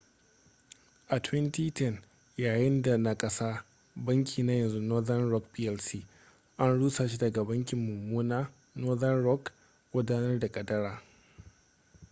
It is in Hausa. a 2010 yayinda na kasa banki na yanzu northern rock plc an rusa shi daga ‘banki mummuna’ northern rock gudanar da kadara